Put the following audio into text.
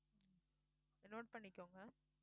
note பண்ணிக்கோங்க